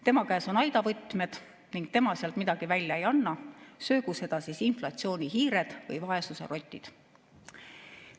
Tema käes on aidavõtmed ning tema sealt midagi välja ei anna, söögu seda inflatsioonihiired või vaesuserotid.